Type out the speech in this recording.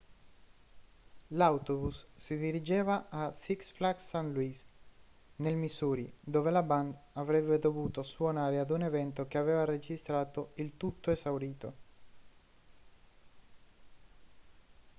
l'autobus si dirigeva a six flags st. louis nel missouri dove la band avrebbe dovuto suonare ad un evento che aveva registrato il tutto esaurito